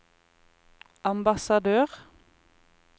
ambassadør